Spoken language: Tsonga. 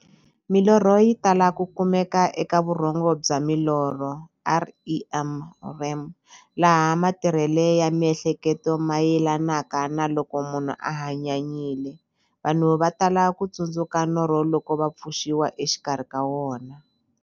Milorho yi tala ku kumeka eka vurhongo bya milorho, REM, laha matirhele ya miehleketo mayelanaka na loko munhu a hanyanyile. Vanhu va tala ku tsundzuka norho loko va pfuxiwa exikarhi ka wona.